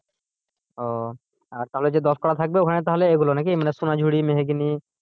ও আর তাহলে যে দশ কাঠা থাকবে ওখানে তাহলে এগুলো নাকি মানে সোনার ঝুড়ি মেহগিনি।